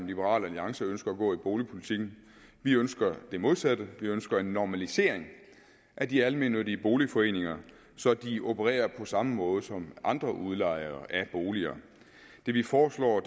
liberal alliance ønsker at gå i boligpolitikken vi ønsker det modsatte vi ønsker en normalisering af de almennyttige boligforeninger så de opererer på samme måde som andre udlejere af boliger det vi foreslår